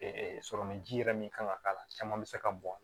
sɔrɔmu ji yɛrɛ min kan ka k'a la caman bɛ se ka bɔn